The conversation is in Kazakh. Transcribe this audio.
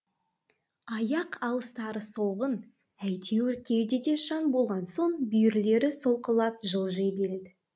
аяқ алыстары солғын әйтеуір кеудеде жан болған соң бүйірлері солқылдап жылжи береді